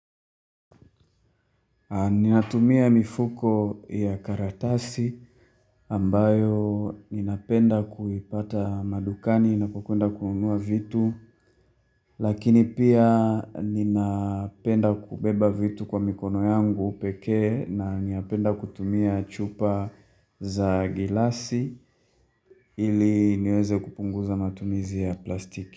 Ninatumia mifuko ya karatasi, ambayo ninapenda kuipata madukani ninapo kwenda kununua vitu. Lakini pia, ninapenda kubeba vitu kwa mikono yangu pekee, na ninapenda kutumia chupa za gilasi, ili niweze kupunguza matumizi ya plastiki.